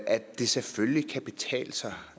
at det selvfølgelig kan betale sig